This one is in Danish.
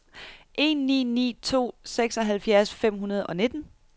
en ni ni to seksoghalvfjerds fem hundrede og nitten